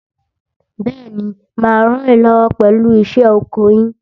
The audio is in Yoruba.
Bẹ́ẹ̀ni, mà á ràn yín lọ́wọ́ pẹ̀lú iṣẹ́ oko yín.